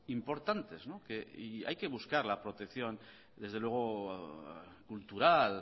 importantes y hay que buscar la protección desde luego cultural